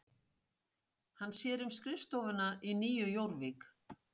Hann sér um skrifstofuna í Nýju Jórvík.